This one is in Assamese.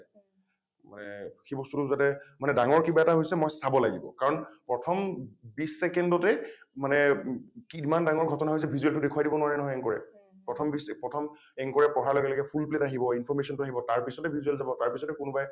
মানে সেই বস্তুটো যাতে ডাঙৰ কিবা এটা হৈছে মই চাব লাগিব কাৰণ প্ৰথম বিছ ছেকেণ্ডতে মানে কিমান ডাঙৰ ঘটনাটো হৈছে visual টো দেখুৱাই দিব নোৱাৰে নহয় anchor এ । প্ৰথম বিছ প্ৰথম anchor এ পঢ়াৰ লগে লগে full plate আহিব information টো আহিব তাৰ পিছত হে visual যাব তাৰ পিছত হে কোনোবাই